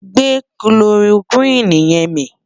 gbè kiloroquine yẹ̀n mí